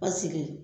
Paseke